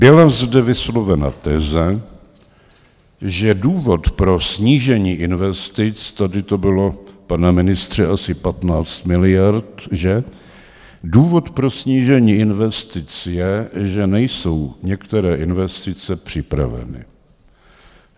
Byla zde vyslovena teze, že důvod pro snížení investic - tady to bylo, pane ministře, asi 15 miliard, že? - důvod pro snížení investic je, že nejsou některé investice připraveny.